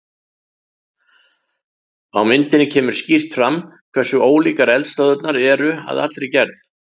Á myndinni kemur skýrt fram hversu ólíkar eldstöðvarnar eru að allri gerð.